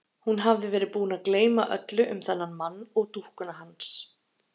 Hún hafði verið búin að gleyma öllu um þennan mann og dúkkuna hans.